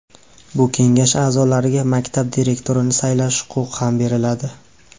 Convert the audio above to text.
Bu kengash aʼzolariga maktab direktorini saylash huquqi ham beriladi.